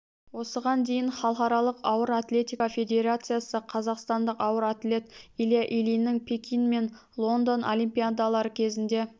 осыған дейін халықаралық ауыр атлетика федерациясы қазақстандық ауыр атлет илья ильиннің пекин мен лондон олимпиадалары кезінде